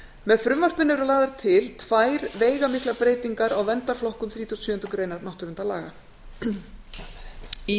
með frumvarpinu eru lagðar til tvær veigamiklar breytingar á verndarflokkum þrítugasta og sjöundu grein náttúruverndarlaga í